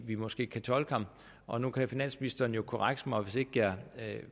vi måske kan tolke ham og nu kan finansministeren jo korrekse mig